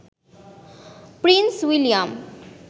Prince William